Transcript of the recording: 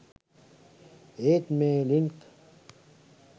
ඒත් මේ ලින්ක්